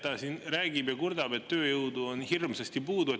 Ta räägib ja kurdab, et tööjõudu on hirmsasti puudu.